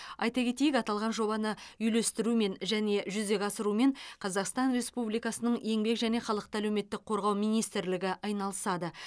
айта кетейік аталған жобаны үйлестірумен және жүзеге асырумен қазақстан республикасының еңбек және халықты әлеуметтік қорғау министрлігі айналысады